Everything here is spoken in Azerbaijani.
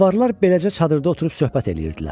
Zəvvazlar beləcə çadırda oturub söhbət eləyirdilər.